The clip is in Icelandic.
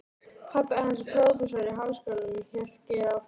Pabbi hans er prófessor í Háskólanum hélt Geir áfram.